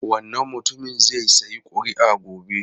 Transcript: Wannan mutumin zai sayi kuri'a gobe.